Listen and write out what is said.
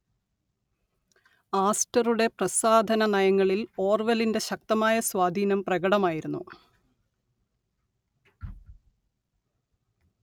ആസ്റ്ററുടെ പ്രസാധനനയങ്ങളിൽ ഓർവെലിന്റെ ശക്തമായ സ്വാധീനം പ്രകടമായിരുന്നു